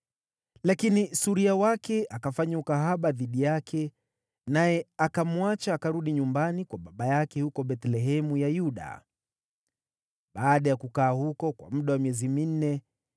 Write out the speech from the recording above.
Lakini suria wake akafanya ukahaba dhidi yake, naye akamwacha akarudi nyumbani kwa baba yake huko Bethlehemu ya Yuda. Baada ya kukaa huko kwa muda wa miezi minne,